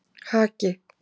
Haki